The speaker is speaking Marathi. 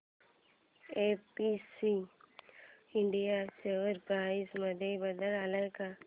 एबीसी इंडिया शेअर प्राइस मध्ये बदल आलाय का